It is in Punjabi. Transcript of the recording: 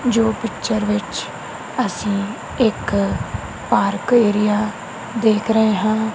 ਜੋ ਪਿਕਚਰ ਵਿੱਚ ਅਸੀਂ ਇੱਕ ਪਾਰਕ ਏਰੀਆ ਦੇਖ ਰਹੇ ਹਨ।